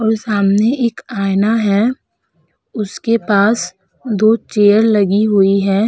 और सामने एक आईना है उसके पास दो चेयर लगी हुई है।